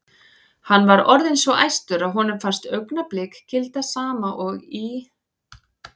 Hann var orðinn svo æstur að honum fannst augnablik gilda sama og í